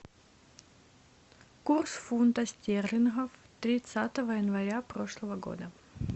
курс фунта стерлинга тридцатого января прошлого года